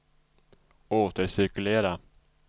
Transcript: återcirkulera